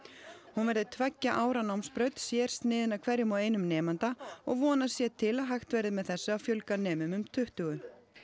hún verði tveggja ára námsbraut sérsniðin að hverjum og einum nemanda og vonast sé til að hægt verði með þessu að fjölga nemum um tuttugu